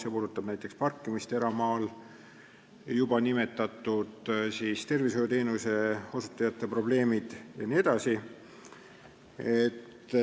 See puudutab näiteks parkimist eramaal, juba nimetatud tervishoiuteenuse osutajate probleeme jne.